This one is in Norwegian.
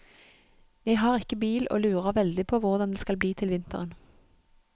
Jeg har ikke bil og lurer veldig på hvordan det skal bli til vinteren.